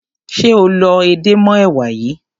Ṣé o lọ edé mọ́ èwà yìí?